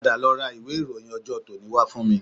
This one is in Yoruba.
Padà lọ ra ìwé ìròyìn ọjọ́ tòní wá fún mi